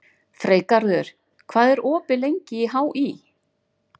Freygarður, hvað er opið lengi í HÍ?